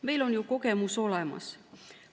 Meil on kogemus olemas.